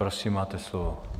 Prosím, máte slovo.